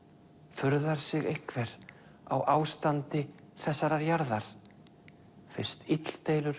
furðar sig einhver á ástandi þessarar jarðar fyrst illdeilur